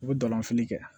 U bɛ dalafili kɛ